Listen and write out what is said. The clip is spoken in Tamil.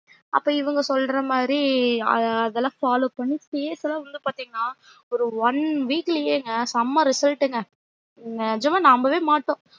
அப்போ இவங்க சொல்றமாறி ஆ அதுல follow பண்ணி face லா வந்து பாத்திங்கன்னா ஒரு one week லேங்க செம result ங்க நெஜமா நம்பவே மாட்டோம்